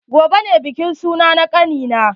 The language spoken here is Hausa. Gobe ne bikin suna na kani na.